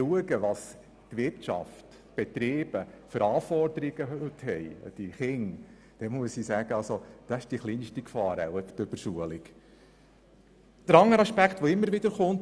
Wenn wir schauen, welche Anforderungen die Betriebe an die Jugendlichen stellen, sehen wir, dass die Überschulung wohl die geringste Gefahr ist.